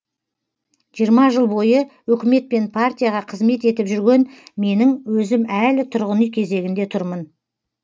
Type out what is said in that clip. жиырма жыл бойы өкімет пен партияға қызмет етіп жүрген менің өзім әлі тұрғын үй кезегінде тұрмын